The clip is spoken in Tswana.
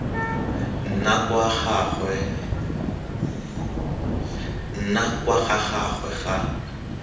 nna kwa ga gagwe ga